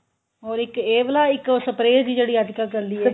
ਹੋਰ ਇੱਕ ਇਹ ਵਾਲਾ ਇੱਕ spray ਜੀ ਜਿਹੜੀ ਅੱਜਕਲ ਚੱਲੀ ਏ